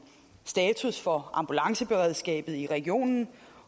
status for ambulanceberedskabet i regionen